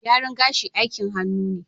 Gyaran gashi aikin hannu ne